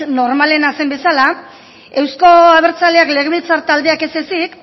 normalena zen bezala euzko abertzaleak legebiltzar taldeak ez ezik